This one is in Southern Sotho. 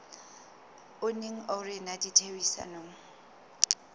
o neng o rena ditherisanong